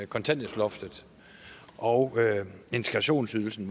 kontanthjælpsloftet og integrationsydelsen